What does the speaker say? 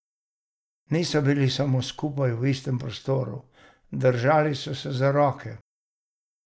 Niso bili samo skupaj v istem prostoru, držali so se za roke.